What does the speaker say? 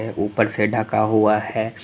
ऊपर से ढका हुआ है।